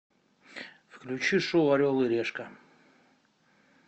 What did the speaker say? включи шоу орел и решка